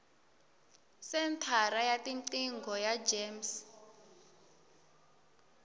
senthara ya tiqingho ya gems